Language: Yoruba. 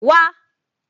Wa